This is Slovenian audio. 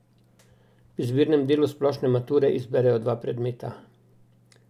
V izbirnem delu Splošne mature izberejo dva predmeta.